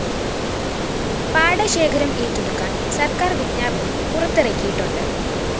പാടശേഖരം ഏറ്റെടുക്കാന്‍ സര്‍ക്കാര്‍ വിജ്ഞാപനം പുറത്തിറക്കിയിട്ടുണ്ട്